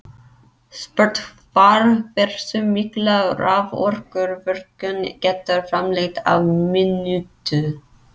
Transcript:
Spurt var hversu mikla raforku virkjun getur framleitt á mínútu.